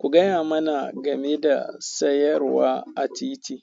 Ku gaya mana game da sayarwa a titi.